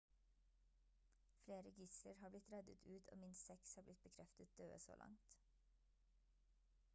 flere gisler har blitt reddet ut og minst seks har blitt bekreftet døde så langt